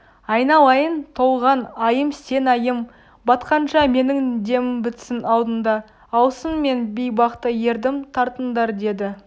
айналайын толған айым сен айым батқанша менің демім бітсін алдыңда алсын мен бейбақты ердім тартыңдар деді